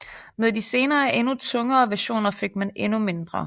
Med de senere og endnu tungere versioner fik man endnu mindre